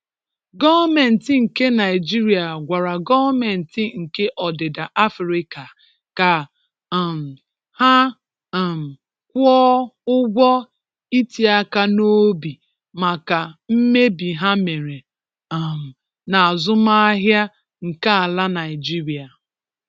Gọọmentị nke Naịjirịa gwara Gọọmentị nke Ọdịda Afịrịka ka um ha um kwụọ ụgwọ itiaka n'obi maka mmebi ha mere um n'azụmaahịa nke ala Naịjirịa